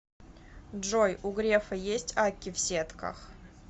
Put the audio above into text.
джой у грефа есть акки в сетках